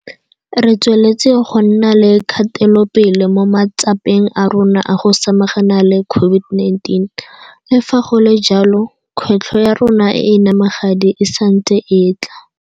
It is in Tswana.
Re tsweletse go nna le kgatelopele mo matsapeng a rona a go samagana le COVID-19, le fa go le jalo, kgwetlho ya rona e e namagadi e santse e tla.